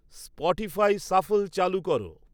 Spotify shuffle চালু কর